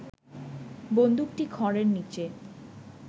বন্দুকটি খড়ের নিচে